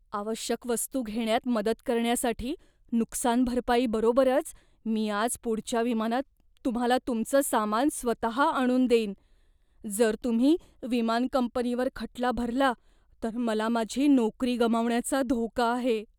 आवश्यक वस्तू घेण्यात मदत करण्यासाठी नुकसानभरपाई बरोबरच मी आज पुढच्या विमानात तुम्हाला तुमचं सामान स्वतः आणून देईन. जर तुम्ही विमान कंपनीवर खटला भरला तर मला माझी नोकरी गमावण्याचा धोका आहे.